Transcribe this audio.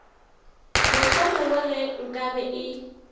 mohlomongwe ge nka be e